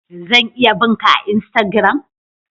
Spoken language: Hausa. Zan iya bin'ka a'insagiram?